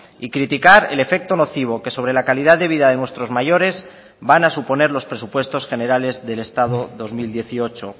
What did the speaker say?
y criticar el efecto nocivo que sobre la calidad de vida de nuestros mayores van a suponer los presupuestos generales del estado dos mil dieciocho